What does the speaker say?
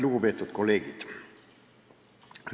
Lugupeetud kolleegid!